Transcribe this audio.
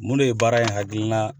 Mun de ye baara in hakina